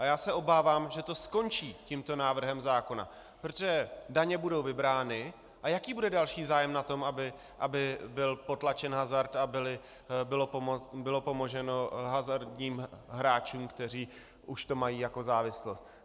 A já se obávám, že to skončí tímto návrhem zákona, protože daně budou vybrány, a jaký bude další zájem na tom, aby byl potlačen hazard a bylo pomoženo hazardním hráčům, kteří už to mají jako závislost?